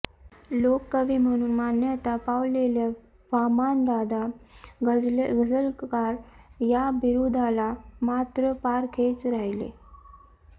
लोककवी म्हणून मान्यता पावलेले वामनदादा गझलकार या बिरुदाला मात्र पारखेच राहिले